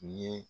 Ɲɛ